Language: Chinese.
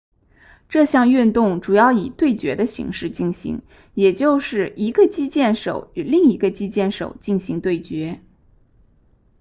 这项运动主要以对决的形式进行也就是一个击剑手与另一个击剑手进行对决